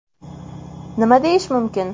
Nima deyish mumkin?